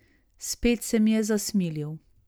Spet se mi je zasmilil.